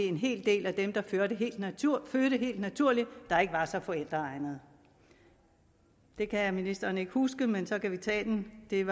en hel del af dem der fødte helt naturligt helt naturligt der ikke var så forældreegnet det kan ministeren ikke huske men så kan vi tage den jeg